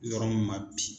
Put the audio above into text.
Yɔrɔ min ma bi